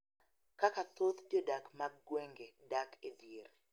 Kaka thoth jodak mag gwenge dak e dhier